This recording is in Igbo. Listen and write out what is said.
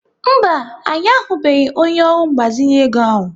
Mba, anyị ahụbeghị onye ọrụ mgbazinye ego ahụ.